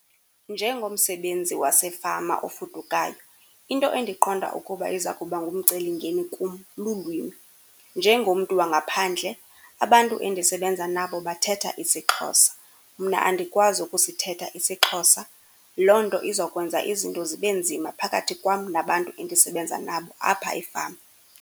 Njengomsebenzi wasefama ofudukayo, into endiqonda ukuba iza kuba ngumceli mngeni kum lulwimi. Njengomntu wangaphandle, abantu endisebenza nabo bathetha isiXhosa, mna andikwazi ukusithetha isiXhosa. Loo nto iza kwenza izinto zibe nzima phakathi kwam nabantu endisebenza nabo apha efama.